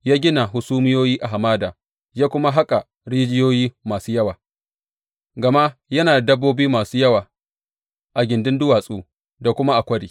Ya gina hasumiyoyi a hamada ya kuma haƙa rijiyoyi masu yawa, gama yana da dabbobi masu yawa a gindin duwatsu da kuma a kwari.